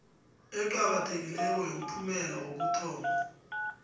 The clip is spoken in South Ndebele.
eqakathekileko yomphumela wokuthoma